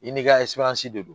I n'i ka de do